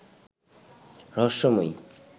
রহস্যময়ী